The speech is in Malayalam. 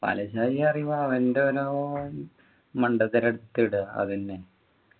പാലാ ഷാജി പറയുമ്പോ അവൻ്റെ ഓരോ മണ്ടത്തരം എടുത്തിടുവാ അതെന്നെ